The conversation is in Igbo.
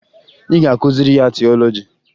Ị ga-akụziri ya tiọlọji!